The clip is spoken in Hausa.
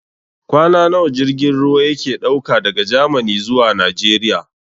Kwana nawa jirgin ruwa yake ɗauka daga Gamani zuwa Najeriya?